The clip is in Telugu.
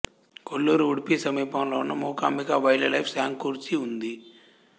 కొల్లూరు ఉడిపి సమీపంలో ఉన్న మూకాంబికా వైల్డ్ లైఫ్ శాంక్చురీ ఉంది